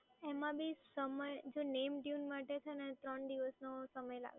જો name tune માટે છે ને ત્રણ દિવસનો સમય લાગે